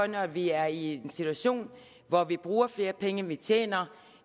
når vi er i en situation hvor vi bruger flere penge end vi tjener